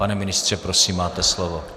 Pane ministře, prosím, máte slovo.